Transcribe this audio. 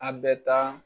An bɛ taa